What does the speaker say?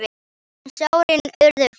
En sárin urðu fleiri.